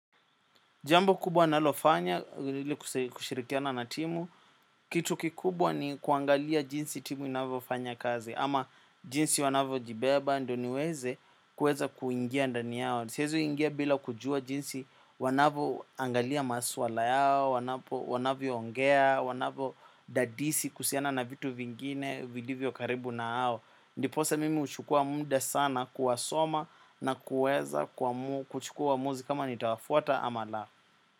Jambo kubwa nalofanya ili kushirikiana na timu. Kitu kikubwa ni kuangalia jinsi timu inavyofanya kazi. Ama jinsi wanavyojibeba ndio niweze kuweza kuingia ndani yao siwezi ingia bila kujua jinsi wanavyoangalia masuala yao. Wanapo wanavyoongea, wanavyo dadisi kuhusiana na vitu vingine vilivyo karibu na hao. Ndiposa mimi huchukua muda sana kuwasoma na kuweza kuchukua uamuzi kama nitawafuata ama la.